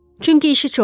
Çünki işi çoxdur.